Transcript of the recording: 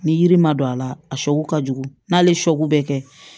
Ni yiri ma don a la a ka jugu n'ale ye bɛ kɛ